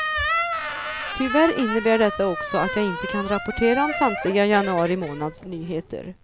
Tyvärr innebär detta också att jag inte kan rapportera om samtliga januari månads nyheter.